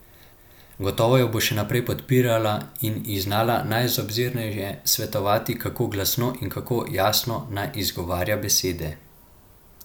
Gotovo jo bo še naprej podpirala in ji znala najobzirneje svetovati, kako glasno in kako jasno naj izgovarja besede.